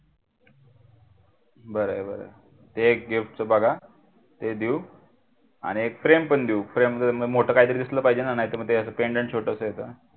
बरा आहे बर ते एक gift बघा ते देऊ आणि जर काही मोठा काहीतरी दिसलं पाहिजे ना नाहीत र मग pendant छोटस असं